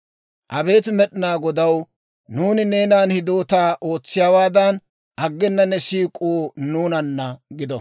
Abeet Med'inaa Godaw, nuuni neenan hidootaa ootsiyaawaadan, aggena ne siik'uu nuunanna gido.